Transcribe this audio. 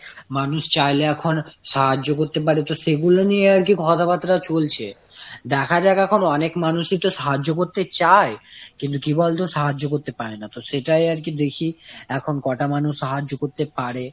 মানুষ চাইলে এখন সাহায্য করতে পারে। তো সেগুলো নিয়ে আর কি কথা বার্তা চলছে। দেখা যাক এখন অনেক মানুষ এ তো সাহায্য করতে চায়, কিন্তু কি বলতো সাহায্য করতে পারে না। তো সেটাই আর কি দেখি এখন কোটা মানুষ সাহায্য করতে পারে।